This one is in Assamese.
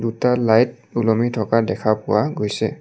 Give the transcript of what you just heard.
দুটা লাইট ওলমি থকা দেখা পোৱা গৈছে।